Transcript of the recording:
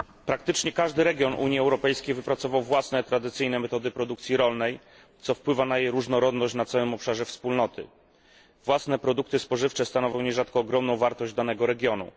Panie Przewodniczący! Praktycznie każdy region Unii Europejskiej wypracował własne tradycyjne metody produkcji rolnej, co wpływa na jej różnorodność na całym obszarze Wspólnoty. Własne produkty spożywcze stanowią nierzadko ogromną wartość danego regionu.